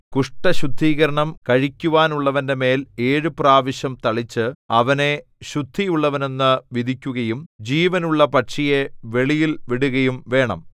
കുഷ്ഠശുദ്ധീകരണം കഴിക്കുവാനുള്ളവന്റെ മേൽ ഏഴു പ്രാവശ്യം തളിച്ച് അവനെ ശുദ്ധിയുള്ളവനെന്നു വിധിക്കുകയും ജീവനുള്ള പക്ഷിയെ വെളിയിൽ വിടുകയും വേണം